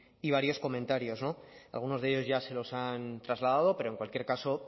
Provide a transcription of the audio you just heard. y varios comentarios algunos de ellos ya se los han trasladado pero en cualquier caso